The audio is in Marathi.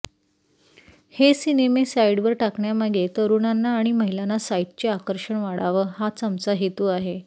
हे सिनेमे साईडवर टाकण्यामागे तरूणांना आणि महिलांना साईटचे आकर्षण वाढावं हाच आमचा हेतू आहे